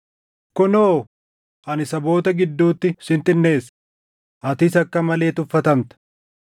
“Kunoo, ani saboota gidduutti sin xinneessa; atis akka malee tuffatamta.